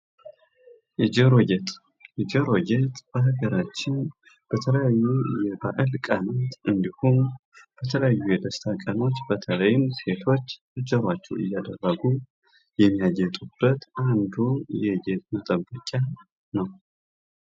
የጆሮ ጌጥ በጆሮ ላይ የሚደረግ ጌጣጌጥ ወይም ጌጥ ነው። በተለምዶ በጆሮ አንጓ (lobe) ላይ ቀዳዳ በመፍጠር የሚንጠለጠል ወይም የሚጣበቅ ሲሆን፣ በአንዳንድ ባህሎች በጆሮው የላይኛው ክፍል ወይም በሌሎች የጆሮ አካባቢዎችም ይደረጋል።